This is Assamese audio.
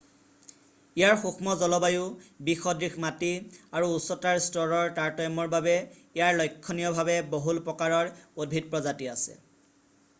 ইয়াৰ সুক্ষ্ম জলবায়ু বিসদৃশ মাটি আৰু উচ্চতাৰ স্তৰৰ তাৰতম্যৰ বাবে ইয়াৰ লক্ষণীয়ভাৱে বহুল প্ৰকাৰৰ উদ্ভিদ প্ৰজাতি আছে